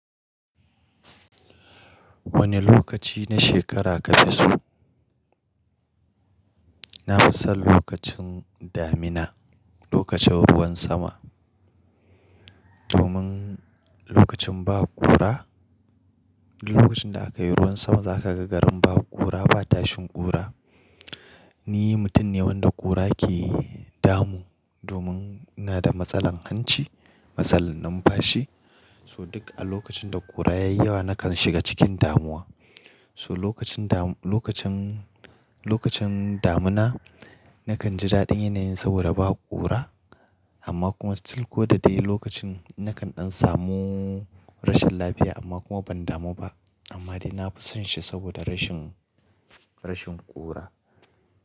Wane lokaci na shekara kafi so? Na fi son lokacin damina, lokacin ruwan sama. Domin lokacin ba ƙura, duk lokacin da aka yi ruwan sama za ka ga garin ba ƙura, ba tashin ƙura. Ni mutum ne wanda ƙura ke damu, domin ina da matsalar hanci, matsalar numfashi. So duk a lokacin da ƙura ya yi yawa nakan shiga cikin damuwa. So lokacin dam-- lokacin, lokacin damina nakan ji daɗin yanayin saboda ba ƙura amma kuma still ko da dai lokacin nakan ɗan samu rashin lafiya amma kuma ban damu ba. Amma dai na fi son shi saboda rashin, rashin ƙura.